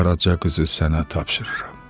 qaraca qızı sənə tapşırıram.